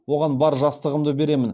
оған бар жастығымды беремін